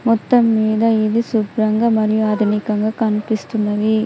మొత్తం మీద ఇది శుభ్రంగా మరియు ఆధునికంగా కనిపిస్తున్నవి.